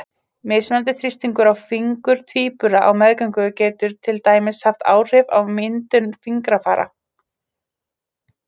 Mismunandi þrýstingur á fingur tvíbura á meðgöngu getur til dæmis haft áhrif á myndun fingrafara.